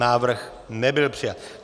Návrh nebyl přijat.